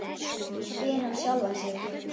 spyr hann sjálfan sig.